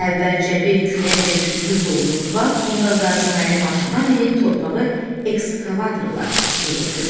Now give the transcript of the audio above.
Əvvəlcə bel kürəklə kürüyüb doldurdular, sonra da cümləli maşından minib torpağı ekskavatorla yığıb tökdü.